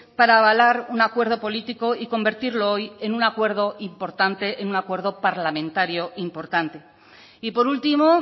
para avalar un acuerdo político y convertirlo hoy en un acuerdo importante en un acuerdo parlamentario importante y por último